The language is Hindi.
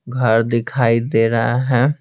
घर दिखाई दे रहा है।